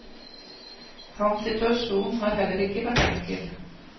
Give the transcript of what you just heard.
Hans situasjon har heller ikke vært enkel.